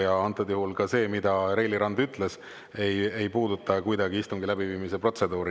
Ja antud juhul see, mida Reili Rand ütles, ei puuduta kuidagi istungi läbiviimise protseduuri.